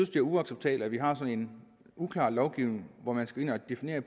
er uacceptabelt at vi har sådan en uklar lovgivning hvor man skal ind og definere